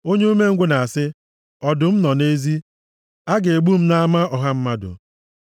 Onye umengwụ na-asị, “Ọdụm nọ nʼezi! A ga-egbu m nʼama ọha mmadụ!”